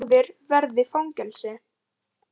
Vinnubúðir verði fangelsi